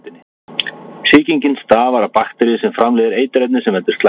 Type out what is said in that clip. Sýkingin stafar af bakteríu sem framleiðir eiturefni sem veldur slæmum hóstaköstum.